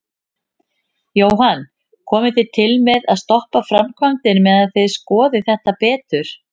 Jóhann: Komið þið til með að stoppa framkvæmdir meðan þið skoðið þetta betur?